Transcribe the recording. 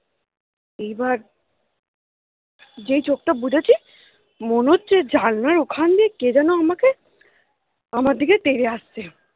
এইবার যেই চোখটা বুজেছি মনে হচ্ছে জানলার ওখান দিয়ে কে যেন আমাকে আমার দিকে তেড়ে আসছে